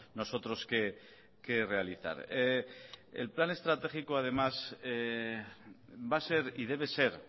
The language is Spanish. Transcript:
nosotros que realizar el plan estratégico además va a ser y debe ser